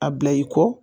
A bila i kɔ